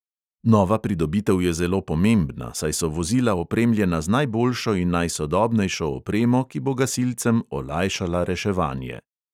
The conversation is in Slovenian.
Nova pridobitev je zelo pomembna, saj so vozila opremljena z najboljšo in najsodobnejšo opremo, ki bo gasilcem olajšala reševanje.